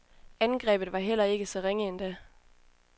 Angrebet var heller ikke så ringe endda.